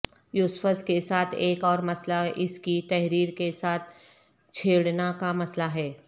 یوسفس کے ساتھ ایک اور مسئلہ اس کی تحریر کے ساتھ چھیڑنا کا مسئلہ ہے